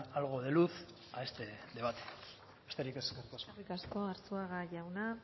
algo de luz a este debate besterik ez eskerrik asko eskerrik asko arzuaga jauna